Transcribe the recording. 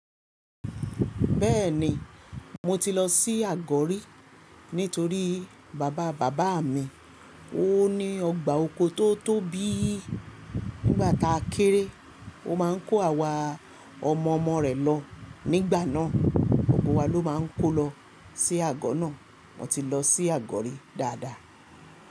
Bẹ́ẹ̀ni, mo ti lọ sí Àgọ́rí nítorí bàbá bàbá mi o. Ó ní ọgbà oko tó tóbi. Nígbà táa kéré, ó máa ń kó àwa ọmọ ọmọ rẹ̀ lọ. Nígbà náà, ọkọ̀ wa ló máa ń kó lọ sí àgọ́ náà. Mo ti lọ sí Àgọ́rí dáadáa.